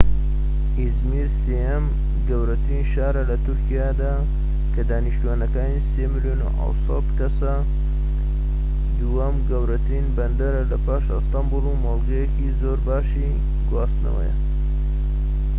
ئیزمیر سێهەم گەورەترین شارە لە تورکیادا کە دانیشتوانەکەی ٣.٧ ملیۆن کەسە، دووهەم گەورەترین بەندەرە لە پاش ئەستەنبوڵ و مۆڵگەیەکی زۆرباشی گواستنەوەیە